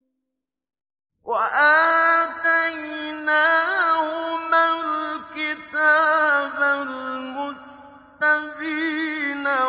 وَآتَيْنَاهُمَا الْكِتَابَ الْمُسْتَبِينَ